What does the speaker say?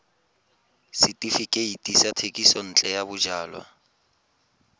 setefikeiti sa thekisontle ya bojalwa